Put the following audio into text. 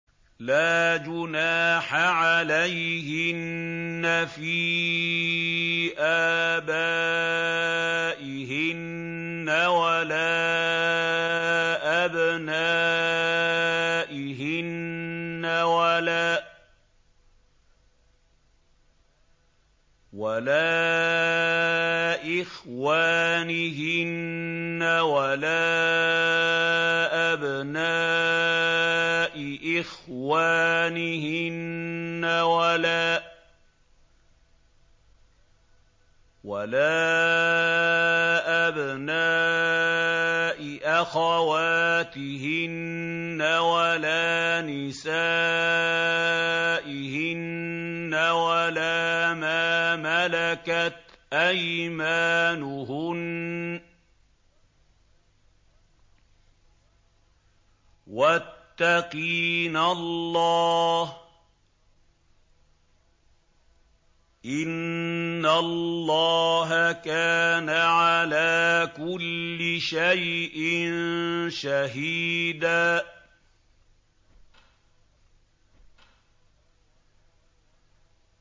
لَّا جُنَاحَ عَلَيْهِنَّ فِي آبَائِهِنَّ وَلَا أَبْنَائِهِنَّ وَلَا إِخْوَانِهِنَّ وَلَا أَبْنَاءِ إِخْوَانِهِنَّ وَلَا أَبْنَاءِ أَخَوَاتِهِنَّ وَلَا نِسَائِهِنَّ وَلَا مَا مَلَكَتْ أَيْمَانُهُنَّ ۗ وَاتَّقِينَ اللَّهَ ۚ إِنَّ اللَّهَ كَانَ عَلَىٰ كُلِّ شَيْءٍ شَهِيدًا